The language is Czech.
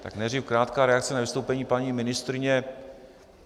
Tak nejdříve krátká reakce na vystoupení paní ministryně.